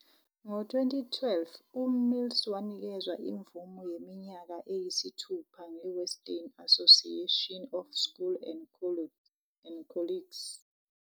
Ngo-2012, uMills wanikezwa imvume yeminyaka eyisithupha nge- Western Association of Schools and Colleges.